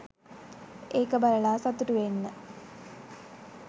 ඒක බලලා සතුටු වෙන්න.